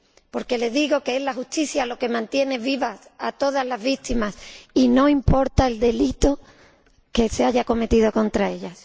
Porque les digo que es la justicia lo que mantiene vivas a todas las víctimas, y no importa el delito que se haya cometido contra ellas.